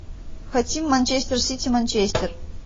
хотим манчестер сити манчестер